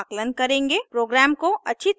programme को अच्छी तरह देखें